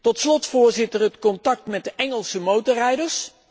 Tot slot, Voorzitter, het contact met de Engelse motorrijders.